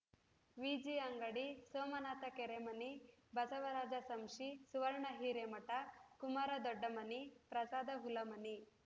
Viji Angadi Somanatha Kerimani Basavaraja Samshi Suvarna Hiremath Kumara Doddamani Prasada Hulamani